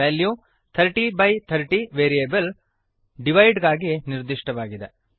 value 3030 variable divide ಗಾಗಿ ನಿರ್ದಿಷ್ಟವಾಗಿದೆ